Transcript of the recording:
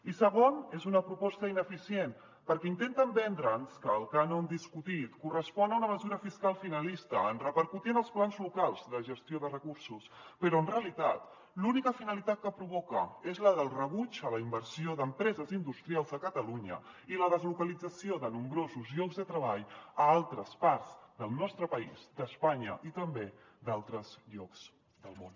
i segon és una proposta ineficient perquè intenten vendre’ns que el cànon discutit correspon a una mesura fiscal finalista en repercutir en els plans locals la gestió de recursos però en realitat l’única finalitat que provoca és la del rebuig a la inversió d’empreses industrials a catalunya i la deslocalització de nombrosos llocs de treball a altres parts del nostre país d’espanya i també d’altres llocs del món